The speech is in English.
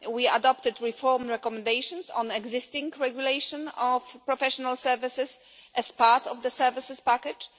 We adopted reform recommendations on the existing regulation of professional services as part of the services package.